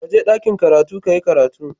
Kaje dakin karatu kayi karatu.